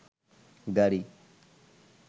গাড়ী